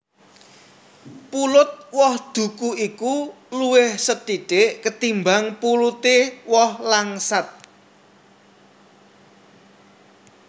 Pulut woh duku iku luwih sethithik ketimbang puluté woh langsat